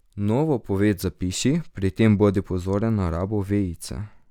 Novo poved zapiši, pri tem bodi pozoren na rabo vejice.